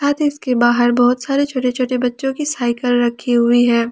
इसके बाहर बहोत सारे छोटे छोटे बच्चों की साइकल रखी हुई है।